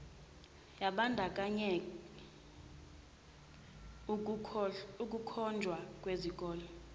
yabandakanya ukukhonjwa kwezikole